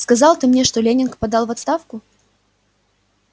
сказал ты мне что лэннинг подал в отставку